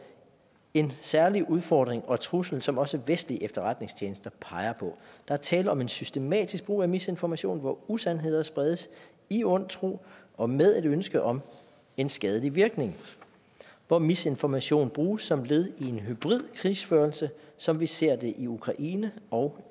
en særlig udfordring og trussel som også vestlige efterretningstjenester peger på der er tale om en systematisk brug af misinformation hvor usandheder spredes i ond tro og med et ønske om en skadelig virkning hvor misinformation bruges som led i en hybrid krigsførelse som vi ser det i ukraine og